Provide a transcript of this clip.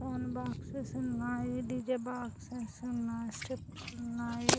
One boxes ఉన్నాయి. D J boxes ఉన్నాయి. స్టీర్ప్స్ ఉన్నాయి.